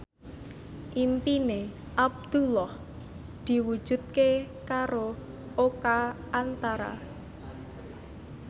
impine Abdullah diwujudke karo Oka Antara